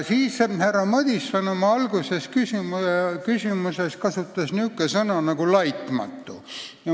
Härra Madison kasutas oma küsimuses sellist sõna nagu "laitmatu".